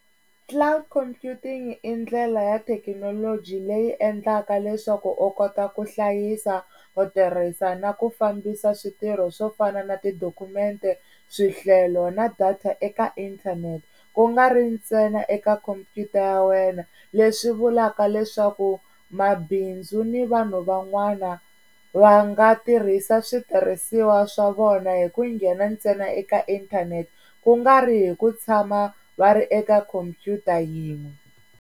Cloud Computing i ndlela ya thekinoloji leyi endlaka leswaku u kota ku hlayisa, ku tirhisa na ku fambisa switirho swo fana na tidokumente, swihlelo na data eka inthanete. Ku nga ri ntsena eka khompyuta ya wena leswi vulaka leswaku mabindzu ni vanhu van'wana va nga tirhisa switirhisiwa swa vona hi ku nghena ntsena eka inthanete ku nga ri hi ku tshama va ri eka khompyuta yin'we.